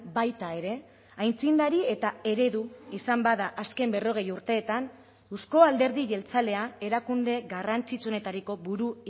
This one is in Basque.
baita ere aitzindari eta eredu izan bada azken berrogei urteetan euzko alderdi jeltzalea erakunde garrantzitsuenetariko buru